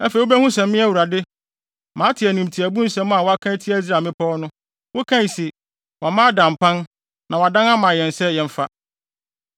Afei wubehu sɛ me Awurade, mate animtiaabu nsɛm a woaka atia Israel mmepɔw no. Wokae se, “Wɔama ada mpan na wɔadan ama yɛn sɛ yɛmfa.”